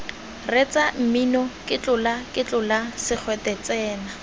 reetsa mmino ketlolaketlola segwete tsena